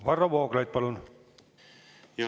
Varro Vooglaid, palun!